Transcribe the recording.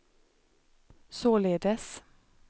således